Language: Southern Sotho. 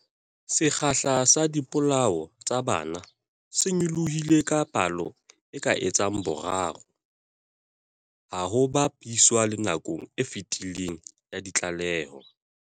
Sekgahla sa dipolao tsa bana se nyolohile ka palo e ka etsang boraro ha ho ba piswa le nakong e fetileng ya ditlaleho.